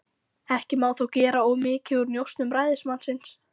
Ekki má þó gera of mikið úr njósnum ræðismannsins.